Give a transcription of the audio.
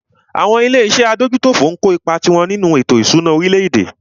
Àwọn ilé iṣé adójútòfò ń kó ipá tiwọn nínú ètò ìṣúná orílẹ̀-èdè.